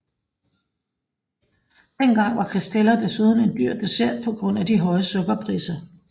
Dengang var var Castella desuden en dyr dessert på grund af de høje sukkerpriser